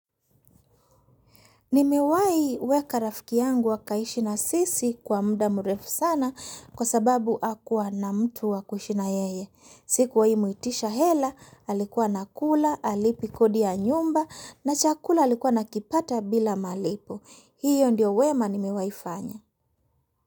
Nimewai weka rafiki yangu wakaishi na sisi kwa muda mrefu sana kwa sababu akuwa na mtu wakuishi na yeye. Sikuwahi muitisha hela, alikuwa anakula, halipi kodi ya nyumba na chakula alikuwa anakipata bila malipo. Hiyo ndio wema nimewai fanya.